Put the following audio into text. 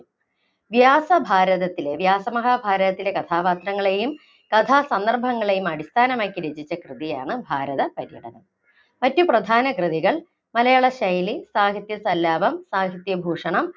വ്യാസഭാരതത്തിലെ, വ്യാസമഹാഭാരതത്തിലെ കഥാപാത്രങ്ങളേയും കഥാസന്ദർഭങ്ങളെയും അടിസ്ഥാനമാക്കി രചിച്ച കൃതിയാണ് ഭാരതപര്യടനം മറ്റു പ്രധാന കൃതികൾ മലയാള ശൈലി, സാഹിത്യസല്ലാപം, സാഹിത്യഭൂഷണം,